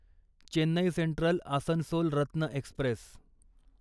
Chennai central Asansol Ratna Express